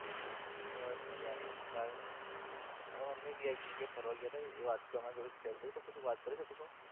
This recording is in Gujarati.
બસ મજા મા રાઈફ અમે એક જગ્યા એ ફરવા ગયા હતા એ વાત તેના જોડે કરતો હતો વાત કર્યો હતો કશો?